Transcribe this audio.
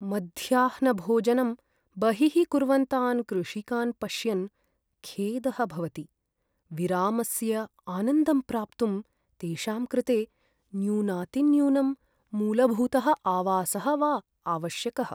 मध्याह्नभोजनं बहिः कुर्वन्तान् कृषिकान् पश्यन् खेदः भवति। विरामस्य आनन्दं प्राप्तुं तेषां कृते न्यूनातिन्यूनं मूलभूतः आवासः वा आवश्यकः।